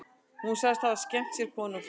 Hún segist hafa skemmt sér konunglega